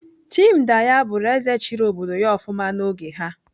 Chindaya bụrụ ézè chịrị obodo ya ofụma n'oge ha.